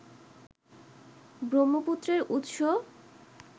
ব্রহ্মপুত্রের উৎস